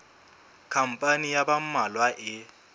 khampani ya ba mmalwa e